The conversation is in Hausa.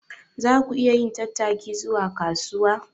Za ku iya yin tattaki zuwa kasuwa?